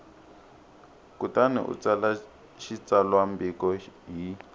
kutani u tsala xitsalwambiko hi